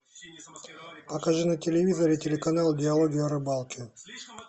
покажи на телевизоре телеканал диалоги о рыбалке